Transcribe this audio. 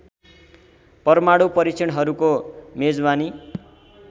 परमाणु परीक्षणहरूको मेजबानी